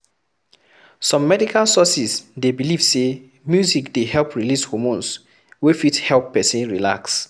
Some medical sources dey belive sey music dey help release homornes wey fit help person relax